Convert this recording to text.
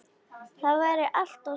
Það væri allt og sumt.